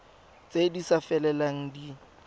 tse di sa felelang di